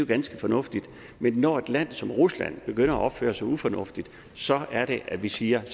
ganske fornuftigt men når et land som rusland begynder at opføre sig ufornuftigt så er det at vi siger at